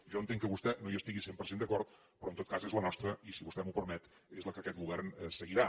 jo entenc que vostè no hi estigui al cent per cent d’acord però en tot cas és la nostra i si vostè m’ho permet és la que aquest govern seguirà